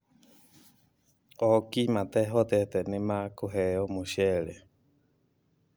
Ooki matehotete nĩ makũheo mũcere